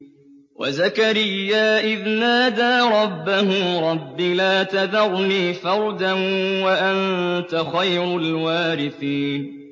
وَزَكَرِيَّا إِذْ نَادَىٰ رَبَّهُ رَبِّ لَا تَذَرْنِي فَرْدًا وَأَنتَ خَيْرُ الْوَارِثِينَ